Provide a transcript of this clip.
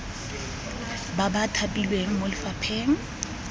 ba ba thapilweng mo lefapheng